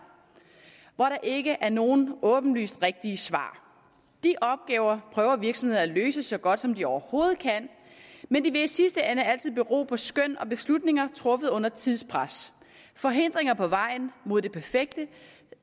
hvor der ikke er nogen åbenlyst rigtige svar de opgaver prøver virksomhederne at løse så godt som de overhovedet kan men det vil i sidste ende altid bero på skøn og beslutninger truffet under tidspres forhindringer på vejen mod det perfekte